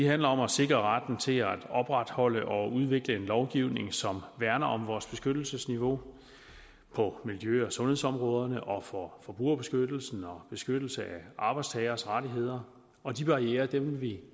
handler om at sikre retten til at opretholde og udvikle en lovgivning som værner om vores beskyttelsesniveau på miljø og sundhedsområderne og for forbrugerbeskyttelsen og beskyttelse af arbejdstagers rettigheder og de barrierer vil vi